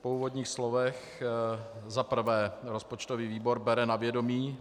Po úvodních slovech za prvé rozpočtový výbor bere na vědomí